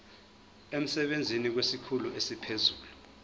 emsebenzini kwesikhulu esiphezulu